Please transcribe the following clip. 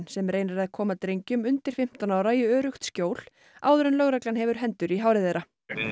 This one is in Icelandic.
sem reynir að koma drengjum undir fimmtán ára í öruggt skjól áður en lögreglan hefur hendur í hári þeirra